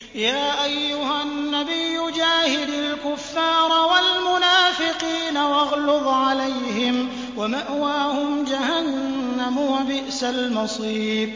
يَا أَيُّهَا النَّبِيُّ جَاهِدِ الْكُفَّارَ وَالْمُنَافِقِينَ وَاغْلُظْ عَلَيْهِمْ ۚ وَمَأْوَاهُمْ جَهَنَّمُ ۖ وَبِئْسَ الْمَصِيرُ